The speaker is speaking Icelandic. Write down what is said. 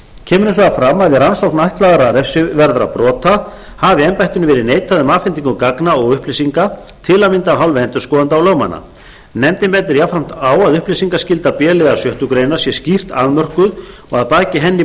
fram að við rannsókn ætlaðra refsiverðra brota hafi embættinu verið neitað um afhendingu gagna og upplýsinga tam af hálfu endurskoðenda og lögmanna nefndin bendir jafnframt á að upplýsingaskylda b liðar sjöttu grein sé skýrt afmörkuð og að baki henni